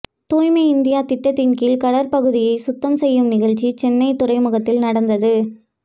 தூய்மை இந்தியா திட்டத்தின் கீழ் கடற்பகுதியை சுத்தம் செய்யும் நிகழ்ச்சி சென்னை துறைமுகத்தில் நடந்தது